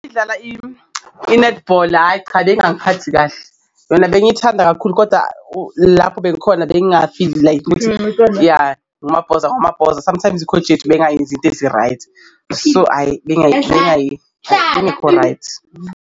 Dlala i-nethibhola, hhayi cha bengangiphathi kahle yona bengiyithanda kakhulu koda lapho bekukhona bengafili like bhoza, ibhoza, ya sometimes ikhoji yethu beyingayenzi so hhayi beyingekho right.